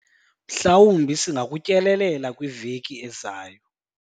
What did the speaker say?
mhlawumbi singakutyelela kwiveki ezayo